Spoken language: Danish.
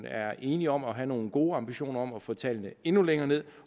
er enige om at have nogle gode ambitioner om at få tallene endnu længere ned